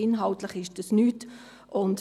Inhaltlich ist das nichts.